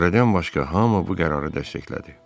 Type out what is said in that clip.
Fuaredən başqa hamı bu qərarı dəstəklədi.